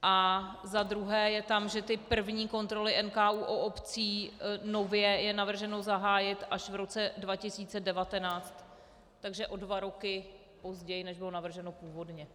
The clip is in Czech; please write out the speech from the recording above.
A za druhé je tam, že ty první kontroly NKÚ u obcí nově je navrženo zahájit až v roce 2019, takže o dva roky později, než bylo navrženo původně.